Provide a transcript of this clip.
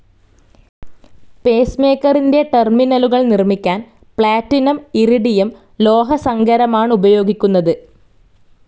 Pace മേക്കറിൻ്റെ ടെർമിനലുകൾ നിർമിക്കാൻ പ്ലേറ്റിനും ഇറിഡിയം ലോഹസങ്കരമാണുപയോഗിക്കുന്നതു.